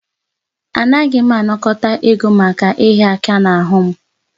Anaghị m anakọta ego maka ịhịa aka n'ahụ m